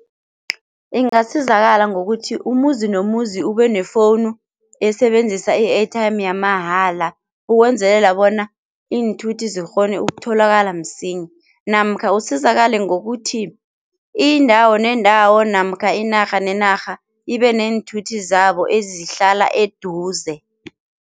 Ingasizakala ngokuthi umuzi nomuzi ubenefowunu esebenzisa i-airtime yamahala ukwenzelela bona iinthuthi zikghone ukutholakala msinya namkha usizakale ngokuthi indawo nendawo namkha inarha nenarha ibe neenthuthi zabo ezihlala eduze.